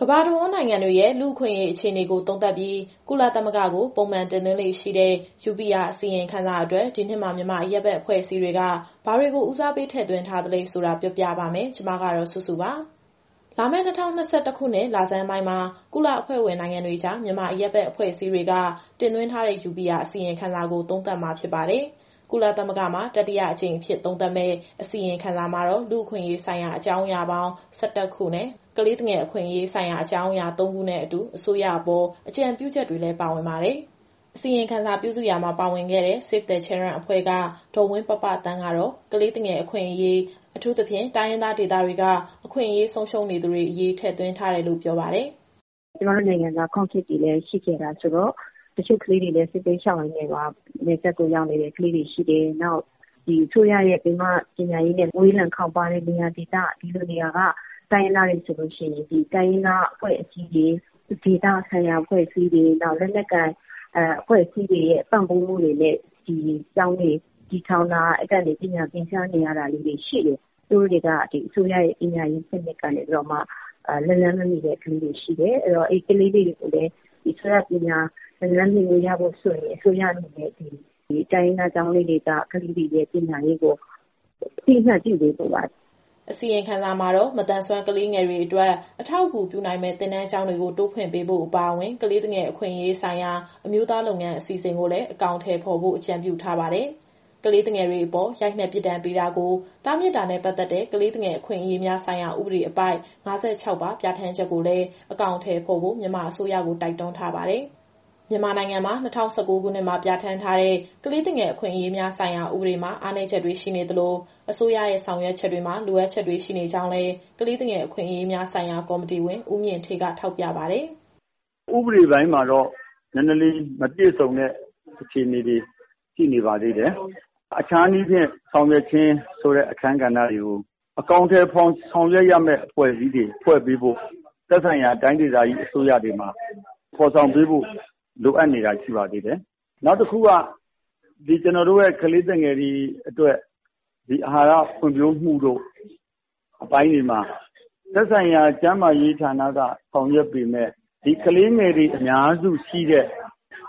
ကမ္ဘာတဝန်း နိုင်ငံတွေရဲ့ လူ့အခွင့်အရေးအခြေအနေကို သုံးသပ်ပြီးကုလသမဂ္ဂကို ပုံမှန်တင်သွင်းလေ့ရှိတဲ့ UPR အစီရင်ခံစာအတွက် ဒီနှစ်မှာ မြန်မာအရပ်ဘက် အဖွဲ့အစည်းတွေက ဘာတွေကို ဦးစားပေး ထည့်သွင်းထားသလဲဆိုတာ ပြောပြပါမယ်။ ဒီအကြောင်းကို ဗွီအိုအေမြန်မာပိုင်း သတင်းထောက်စုစုက တင်ဆက်ပေးမှာပါ။ လာမယ့် ၂၀၂၁ ခုနှစ် လဆန်းပိုင်းမှာ ကုလအဖွဲ့ဝင်နိုင်ငံတွေကြား မြန်မာအရပ်ဘက်အဖွဲ့အစည်းတွေက တင်သွင်းထားတဲ့ UPR အစီရင်ခံစာကို သုံးသပ်မှာဖြစ်ပါတယ်။ ကုလသမဂ္ဂမှာ တတိယအကြိမ်အဖြစ် သုံးသပ်မယ့် အစီရင်ခံစာမှာတော့ လူ့အခွင့်အရေးဆိုင်ရာ အကြောင်းအရာပေါင်း ၁၁ ခုနဲ့ ကလေးသူငယ်အခွင့်အရေးဆိုင်ရာ အကြောင်းအရာ ၃ခုနဲ့အတူ အစိုးရအပေါ် အကြံပြုချက်တွေလည်း ပါဝင်ပါတယ်။ အစီရင်ခံစာပြုစုရာမှာ ပါဝင်ခဲ့တဲ့ Save the Children အဖွဲ့က ဒေါ်ဝင်းပပသန်းကတော့ ကလေးငယ်တွေ အခွင့်အရေး၊ အထူးသဖြင့် တိုင်းရင်းသားဒေသတွေက အခွင့်အရေးဆုံးရှုံးနေသူတွေအရေး ထည့်သွင်းထားတယ်လို့ ပြောပါတယ်။ “ကျမတို့နိုင်ငံက Conflict တွေလည်း ရှိခဲ့တာဆိုတော့ တချို့ကလေးငယ်တွေလည်း စစ်ဘေးရှောင်ရင်းနဲ့ နယ်စပ်ကိုရောက်နေတဲ့ ကလေးတွေရှိတယ်။ နောက် အစိုးရရဲ့ပင်မပညာရေးနဲ့ ဝေးလံခေါင်းပါးတဲ့နေရာဒေသက တိုင်းရင်းသားတွေဆိုရင် ဒီတိုင်းရင်းသားအဖွဲ့အစည်းတွေ၊ ဒေသဆိုင်ရာအဖွဲ့အစည်းတွေ၊ လက်နက်ကိုင်အဖွဲ့အစည်းတွေရဲ့ ပံ့ပိုးမှုတွေနဲ့ ဒီကျောင်းတွေ တည်ထောင်တာ။ အဲကနေ ပညာသင်ကြားနေရတာလေးတွေ ရှိတယ်။ သူတို့တွေက ဒီအစိုးရရဲ့ပညာရေးစနစ်ကနေပြီးတော့မှ လက်လှမ်းမမှီတဲ့ ကလေးတွေရှိတယ်။ အဲတော့ အဲဒီကလေးတွေကိုလည်း ဒီအစိုးရပညာရေး လက်လှမ်းမှီခွင့်ရဖို့ဆိုရင် အစိုးရအနေနဲ့ တိုင်းရင်းသားကျောင်းလေးတွေက ကလေးတွေရဲ့ပညာရေးကို အသိအမှတ်ပြုပေးဖို့ပါ။” အစီရင်ခံစာမှာတော့ မသန်စွမ်းကလေးငယ်တွေအတွက် အထောက်အကူပြုနိုင်မယ့် သင်တန်းကျောင်းတွေကို တိုးဖွင့်ပေးဖို့အပါအဝင်၊ ကလေးသူငယ် အခွင့်အရေးဆိုင်ရာ အမျိုးသားလုပ်ငန်းအစီအစဉ်ကိုလည်း အကောင်အထည်ဖော်ဖို့ အကြံပြုထားတာပါ။ ကလေးသူငယ်တွေအပေါ် ရိုက်နှက်ပြစ်ဒဏ်ပေးတာကို တားမြစ်တာနဲ့ ပတ်သက်တဲ့ ကလေးသူငယ်အခွင့်အရေးများဆိုင်ရာ ဥပဒေအပိုဒ် ၅၆ ပါ ပြဌာန်းချက်ကိုလည်း အကောင်အထည်ဖော်ဖို့ မြန်မာအစိုးရကို တိုက်တွန်းထားပါတယ်။ မြန်မာနိုင်ငံမှာ ၂၀၁၉ ခုနှစ်မှာ ပြဌာန်းထားတဲ့ ကလေးသူငယ်အခွင့်အရေးများဆိုင်ရာ ဥပဒေမှာ အားနည်းချက်တွေရှိနေသလို၊ အစိုးရရဲ့ ဆောင်ရွက်ချက်တွေမှာ လိုအပ်ချက်တွေရှိနေကြောင်းလည်း ကလေးသူငယ်အခွင့်အရေးများဆိုင်ရာ ကော်မတီဝင် ဦးမြင့်ဌေးက ထောက်ပြပါတယ်။ “ဥပဒေပိုင်းမှာတော့ နည်းနည်းလေး မပြည့်စုံတဲ့ အခြေအနေတွေရှိနေပါသေးတယ်။ အခြားနည်းဖြင့်ဆောင်ရွက်ခြင်းဆိုတဲ့ အခန်းကဏ္ဍတွေကို အကောင်အထည်ဖော်ဆောင်ရွက်ရမယ့် အဖွဲ့အစည်းတွေဖွဲ့ပေးဖို့ သက်ဆိုင်ရာတိုင်းဒေသကြီးအစိုးရတွေမှာ ဖော်ဆောင်ပေးဖို့လိုအပ်နေတာ ရှိနေပါသေးတယ်။ နောက်တခုက ကလေးသူငယ်တွေအတွက် အာဟာရဖွံ့ဖြိုးမှုအပိုင်းတွေမှာ သက်ဆိုင်ရာကျန်းမာရေးဌာနက ဆောင်ရွက်ပေမယ့် ဒီကလေးငယ်တွေအများစုရှိတဲ့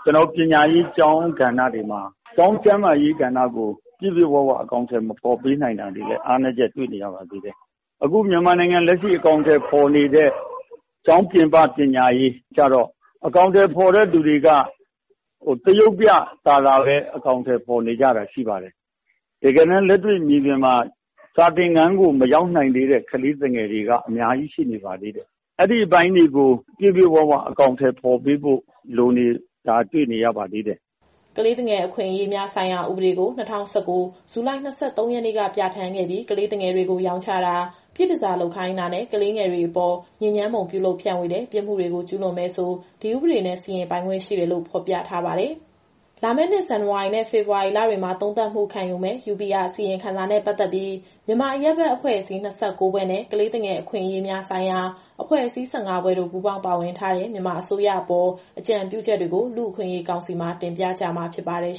ပညာရေးကျောင်းကဏ္ဍတွေမှာ ကျောင်းကျန်းမာရေးကဏ္ဍကို ပြည့်ပြည့်ဝဝအကောင်အထည် မဖော်ပေးနိုင်တာတွေလည်း အားနည်းချက်တွေ့နေရပါသေးတယ်။ အခုမြန်မာနိုင်ငံမှာ လက်ရှိအကောင်အထည်ဖော်နေတဲ့ ကျောင်းပြင်ပ ပညာရေးကတော့ အကောင်အထည်ဖော်နေတဲ့သူတွေက သရုပ်ပြကာလပဲ အကောင်အထည်ဖော်နေကြတာ ရှိပါတယ်။ တကယ်တမ်း လက်တွေ့မြေပြင်မှာ စာသင်ခန်းကို မရောက်နိုင်သေးတဲ့ ကလေးသူငယ်တွေက အများကြီးရှိနေပါသေးတယ်။ အဲဒီအပိုင်းတွေကို ပြည့်ပြည့်ဝဝအကောင်အထည်ဖော်ပေးဖို့ လိုနေတာတွေ့နေရပါသေးတယ်။” ကလေးသူငယ် အခွင့်အရေးများဆိုင်ရာ ဥပဒေကို ၂၀၁၉ ဇူလိုင် ၂၃ ရက်နေ့က ပြဌာန်းခဲ့ပြီး ကလေးငယ်တွေကို ရောင်းချတာ၊ ပြည့်တန်ဆာလုပ်ခိုင်းတာနဲ့ ကလေးငယ်တွေအပေါ်ညစ်ညမ်းပုံပြုလုပ်ဖြန့်ဝေတဲ့ ပြစ်မှုတွေကို ကျူးလွန်မယ်ဆို ဒီဥပဒေနဲ့ စီရင်ပိုင်ခွင့်ရှိတယ်လို့ ဖော်ပြထားပါတယ်။ လာမယ့်နှစ် ဇန်နဝါရီနဲ့ ဖေဖော်ဝါရီလတွေမှာ သုံးသပ်မှုခံယူမယ့် UPR အစီရင်ခံစာနဲ့ ပတ်သက်ပြီး မြန်မာအရပ်ဘက်အဖွဲ့အစည်း ၂၉ ဖွဲ့နဲ့ ကလေးသူငယ်အခွင့်အရေးဆိုင်ရာ အဖွဲ့အစည်း ၁၅ ဖွဲ့တို့ ပူးပေါင်းပါဝင်ထားတဲ့ မြန်မာအစိုးရအပေါ် အကြံပြုချက်တွေကို လူ့အခွင့်အရေးကောင်စီမှာ တင်ပြကြမှာဖြစ်ပါတယ်